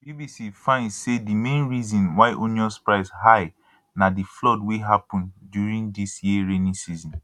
bbc find say di main reason why onions price high na di flood wey happun during dis year rainy season